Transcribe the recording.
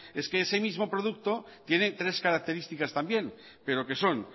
es que ese mismo producto tiene tres características también